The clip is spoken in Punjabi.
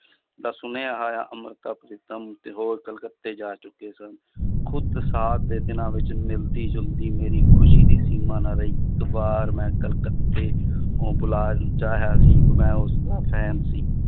ਦਾ ਸੁਣਿਆ ਹੋਇਆ ਅੰਮ੍ਰਿਤਾ ਪ੍ਰੀਤਮ ਤੇ ਹੋਰ ਕਲਕੱਤੇ ਜਾ ਚੁੱਕੇ ਸਨ, ਖੁੱਦ ਦੇ ਦਿਨਾਂ ਵਿੱਚ ਮਿਲਦੀ ਜੁਲਦੀ ਮੇਰੀ ਖ਼ੁਸ਼ੀ ਦੀ ਸੀਮਾ ਨਾ ਰਹੀ ਮੈਂ ਕਲਕੱਤੇ ਚਾਹਿਆ ਸੀ ਮੈਂ ਉਸਦਾ fan ਸੀ